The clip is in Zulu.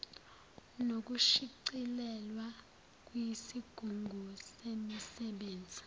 nokushicilelwa kwisigungu semisebenzi